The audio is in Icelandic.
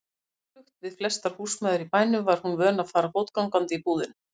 Öfugt við flestar húsmæður í bænum var hún vön að fara fótgangandi í búðina.